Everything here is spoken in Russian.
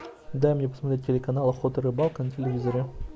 дай мне посмотреть телеканал охота и рыбалка на телевизоре